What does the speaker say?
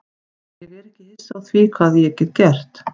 Ég er ekki hissa á því hvað ég get gert.